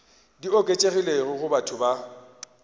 di oketšegilego go batho ba